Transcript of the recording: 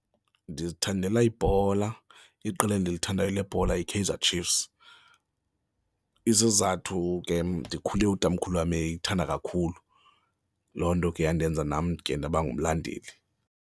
Ndizithandela ibhola, iqela endilithandayo lebhola yiKaizer Chiefs. Isizathu ke ndikhule utamkhulu wam eyithanda kakhulu, loo nto ke yandenza nam ke ndaba ngumlandeli.